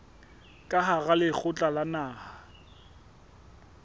ka hara lekgotla la naha